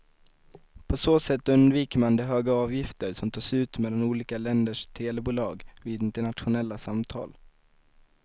På så sätt undviker man de höga avgifter som tas ut mellan olika länders telebolag vid internationella samtal.